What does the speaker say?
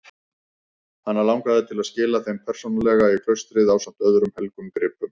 Hana langaði til að skila þeim persónulega í klaustrið ásamt öðrum helgum gripum.